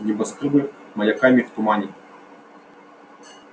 небоскрёбы маяками в тумане